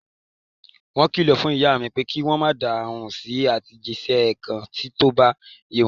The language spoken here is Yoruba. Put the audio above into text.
Wọ́n kìlọ̀ fún ìyá mi, pé kí wọ́n ma dáhùn sí àtẹ̀jísẹ́ kan ti ko bá ye wọn.